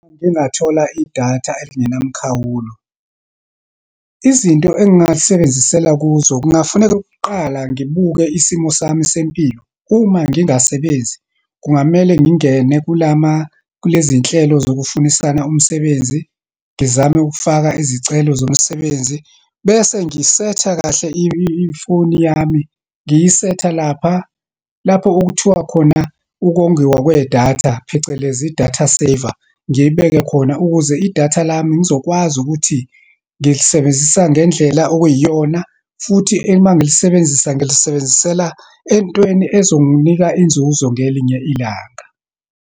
Uma ngingathola idatha elingenamkhawulo, izinto engingalisebenzisela kuzo, kungafuneke okokuqala, ngibuke isimo sami sempilo. Uma ngingasebenzi, kungamele ngingene kulama, kulezinhlelo zokufunisana umsebenzi, ngizame ukufaka izicelo zomsebenzi. Bese ngisetha kahle ifoni yami, ngiyisetha lapha, lapho okuthiwa khona, ukongiwa kwedatha, phecelezi i-data saver. Ngiyibeke khona ukuze idatha lami ngizokwazi ukuthi ngilisebenzisa ngendlela okuyiyona, futhi uma ngilisebenzisa, ngilisebenzisela entweni ezonginika inzuzo ngelinye ilanga.